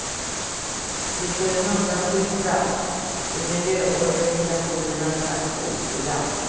De får en undanskymd plats i miljöorganisationernas aktionsprogram.